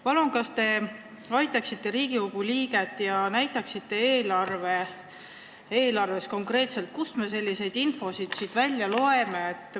Palun, kas te aitaksite Riigikogu liiget ja näitaksite eelarves konkreetselt, kust me sellist infot siit välja loeme?